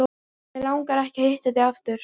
Mig langar ekki að hitta þig aftur.